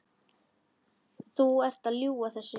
Þú ert að ljúga þessu!